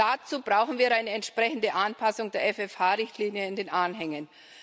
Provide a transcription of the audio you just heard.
Dazu brauchen wir eine entsprechende Anpassung der FFH Richtlinie in den Anfängen.